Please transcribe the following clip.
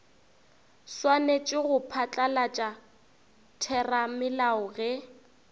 swanetše go phatlalatša theramelao ge